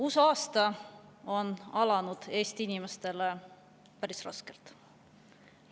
Uus aasta on alanud Eesti inimestele päris raskelt.